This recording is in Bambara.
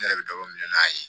Ne yɛrɛ bɛ dɔ minɛ n'a ye